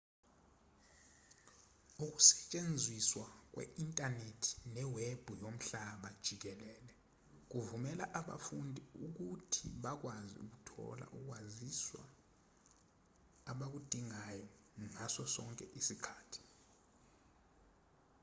ukusetshenziswa kwe-inthanethi newebhu yomhlaba jikelele kuvumela abafundi ukuthi bakwazi ukuthola ukwaziswa abakudingayo ngaso sonke isikhathi